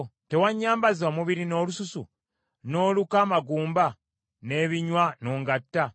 Tewannyambaza omubiri n’olususu, n’oluka amagumba n’ebinywa n’ongatta?